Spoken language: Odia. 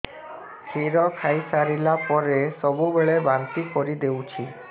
କ୍ଷୀର ଖାଇସାରିଲା ପରେ ସବୁବେଳେ ବାନ୍ତି କରିଦେଉଛି